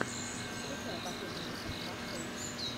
включай последний выпуск варфэйс